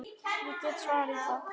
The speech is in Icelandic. Ég get svarið það.